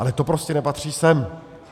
Ale to prostě nepatří sem.